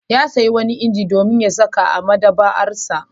Ya sayo wani inji domin sakawa a maɗaba'arsa.